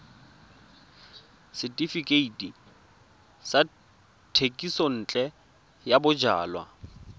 setefikeiti sa thekisontle ya bojalwa